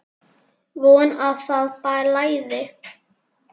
Von að það blæði!